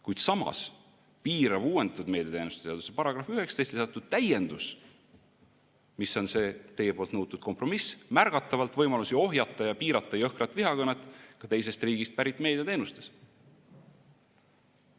Kuid samas piirab uuendatud meediateenuste seaduse § 19 lisatud täiendus, mis on see teie poolt nõutud kompromiss, märgatavalt võimalusi ohjata ja piirata jõhkrat vihakõnet ka teisest riigist pärit meediateenustes.